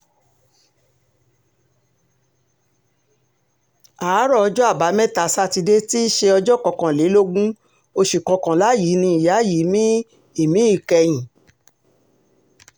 àárọ̀ ọjọ́ àbámẹ́ta sátidé tí í ṣe ọjọ́ kọkànlélógún oṣù kọkànlá yìí ni ìyá yìí mí ìmí ìkẹyìn